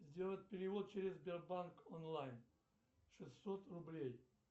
сделать перевод через сбербанк онлайн шестьсот рублей